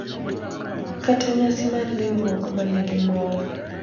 kata nyasi mar riwruok ma nigi mor,